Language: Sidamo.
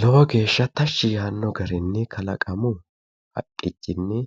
Lowo geeshsha tashshi yaanno garinni kalaqamu haqqichinni